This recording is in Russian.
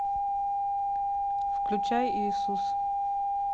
включай иисус